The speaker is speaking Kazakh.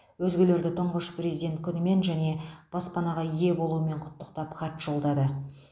өзгелерді тұңғыш президент күнімен және баспанаға ие болуымен құттықтап хат жолдады